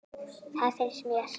Það finnst mér.